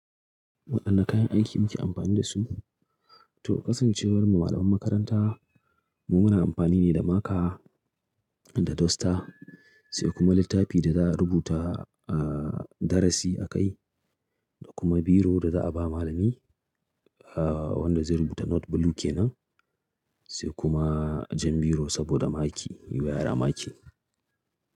Waɗanne kayan aiki muke amfani da su? To kasancewar mu malaman makaranta mu muna amfani ne da marker da duster sai kuma littafi da za a rubuta aa darasi a kai da kuma biro da za a ba malami aa wanda zai rubuta note blue kenan sai kuma jan biro saboda maki wayar amaki.